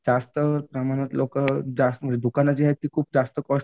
जास्त प्रमाणात लोकं जास्त दुकानं जी आहेत ती खूप जास्त कॉस्ट